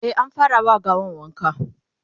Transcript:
e an fara wa gawan wanka